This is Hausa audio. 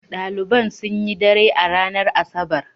Ɗaliban sun yi dare a ranar Asabar.